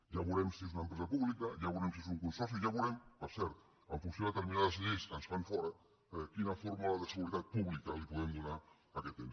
ja veurem si és una empresa pública ja veurem si és un consorci ja veurem per cert en funció de determinades lleis que ens fan fora quina fórmula de seguretat pública podem donar a aquest ens